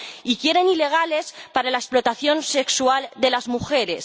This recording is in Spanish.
Y quieren ilegales para la explotación sexual de las mujeres.